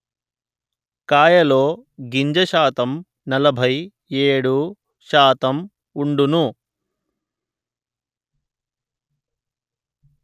కాయలో గింజశాతం నలభై ఏడు% వుండును